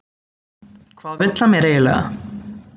Hvað vill hann mér eiginlega?